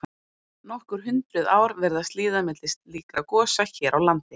Nokkur hundruð ár virðast líða milli slíkra gosa hér á landi.